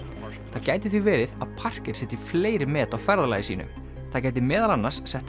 það gæti því verið að setji fleiri met á ferðalagi sínu það gæti meðal annars sett